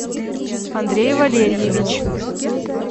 андрей валерьевич